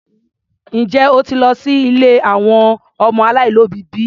Njẹ́ o ti lọ sí ilé àwọn ọmọ aláìlóbìí bi?